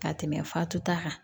Ka tɛmɛ fatuta kan